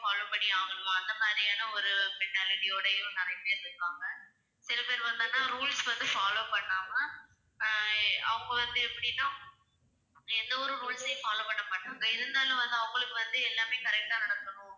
follow பண்ணியே ஆகணுமா அந்த மாதிரியான ஒரு mentality ஓடயும் நிறைய பேர் இருக்காங்க. சிலபேர் பார்த்தோம்ன்னா rules வந்து follow பண்ணாம அஹ் எ~ அவங்க வந்து எப்படின்னா எந்த ஒரு rules ஐயும் follow பண்ண மாட்டாங்க இருந்தாலும் வந்து அவங்களுக்கு வந்து எல்லாமே correct ஆ நடக்கணும்.